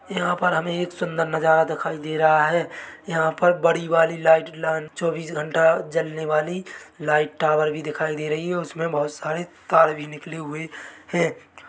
यहाँ पर हमे एक सुंदर नजारा दिखाई दे रहा है यहाँ पर बड़ी वाली लाइट लांच चौबीस घंटा जलने वाली लाइट टावर भी दिखाई दे रही हैउसमे बहुत सारे तार भी निकले हुए है ।